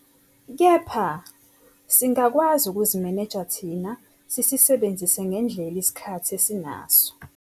Kepha, singakwazi ukuzimeneja thina sisisebenzise ngendlela isikhathi esinaso.